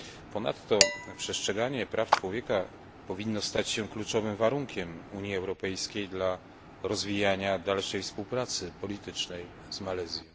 Ponadto przestrzeganie praw człowieka powinno stać się kluczowym warunkiem Unii Europejskiej dla rozwijania dalszej współpracy politycznej z Malezją.